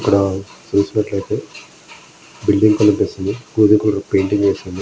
ఇక్కడ చూసినట్లయితే బిల్డింగ్ కనిపిస్తుంది. గోధుమ కలర్ పెయింటింగ్ వేసి ఉంది .